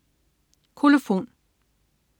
Kolofon